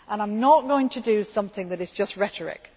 I am not going to do something that is just rhetoric.